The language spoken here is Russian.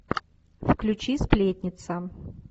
включи сплетница